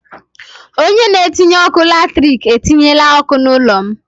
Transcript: Onye tinyere ọkụ latrik etinyela ọkụ n'ụlọ m.